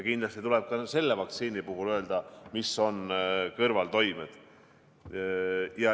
Kindlasti tuleb ka selle vaktsiini puhul öelda, mis on kõrvaltoimed.